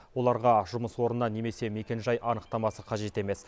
оларға жұмыс орнынан немесе мекенжай анықтамасы қажет емес